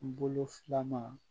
Bolo filanan